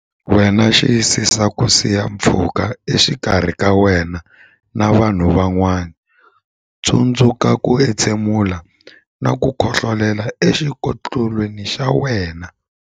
Wena Xiyisisa ku siya pfhuka exikarhi ka wena na vanhu van'wana Tsundzuka ku entshemula na ku khohlolela exikokolweni xa wena.